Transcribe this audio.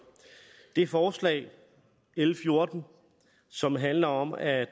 det forslag l fjorten som handler om at